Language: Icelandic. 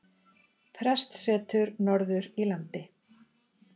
Prestssetur norður í landi.